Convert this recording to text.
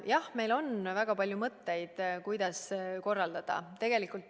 Jah, meil on väga palju mõtteid, kuidas seda kõike korraldada.